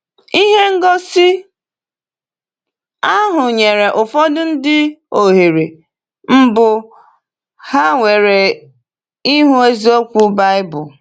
Ihe ngosi ahụ nyere ụfọdụ ndị ohere mbụ ha nwere ịhụ eziokwu Baịbụl.